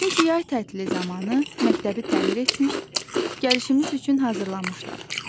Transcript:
Çünki yay tətili zamanı məktəbi təmir etmiş, gəlişimiz üçün hazırlamışlar.